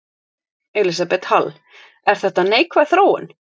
Elísabet Hall: Er þetta neikvæð þróun?